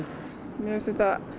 mér finnst þetta